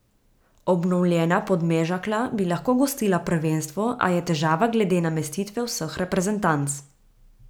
Obnovljena Podmežakla bi lahko gostila prvenstvo, a je težava glede namestitve vseh reprezentanc.